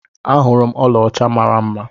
Ahurum ọla ọcha mara mma.